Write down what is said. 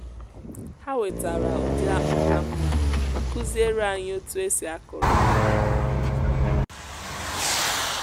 ha wetara ụdị akpụ ka mma ma kụziere anyị otu e si akụrụ ha